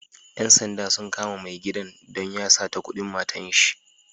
Ƴan sanda sun kama mai gidan don ya sata kudin matanshi.